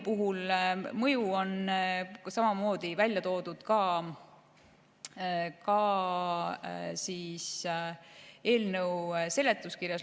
Mõju on välja toodud eelnõu seletuskirjas.